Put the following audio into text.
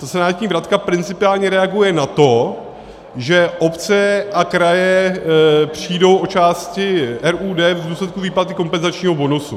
Ta senátní vratka principiálně reaguje na to, že obce a kraje přijdou o části RUD v důsledku výplaty kompenzačního bonusu.